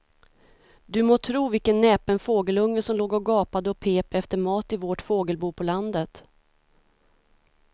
Du må tro vilken näpen fågelunge som låg och gapade och pep efter mat i vårt fågelbo på landet.